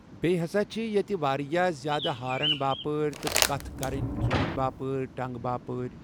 بیٚیہِ ہَسا چھِ ییٚتہِ واریاہ زیادٕ ہارن باپٲرۍ تٕہ کتھ کٔرنی ژوٗنٛٹھۍ باپٲرۍ ٹنٛگ باپٲرۍ